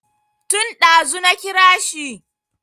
Tun ɗazu na kira shi